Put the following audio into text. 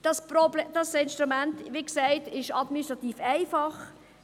Der administrative Aufwand für die Vermietenden ist klein;